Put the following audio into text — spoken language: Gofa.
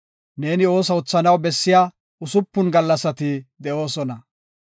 Neeni ooso oothanaw bessiya usupun gallasati de7oosona.